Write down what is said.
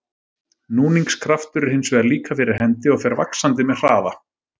Núningskraftur er hins vegar líka fyrir hendi og fer vaxandi með hraða.